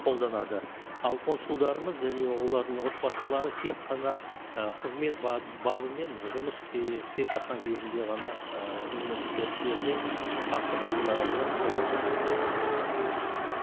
қолданады ал консулдарымыз және олардың отбасылары тек қана ы қызмет бабымен жұмыс істей істеп жатқан кезінде ғана ы оларға ы қолданды